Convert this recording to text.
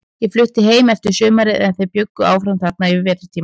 Ég flutti heim eftir sumarið, en þeir bjuggu þarna áfram yfir vetrartímann.